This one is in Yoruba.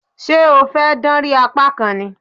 Ṣé o fẹ́ dánrí apá kan ni?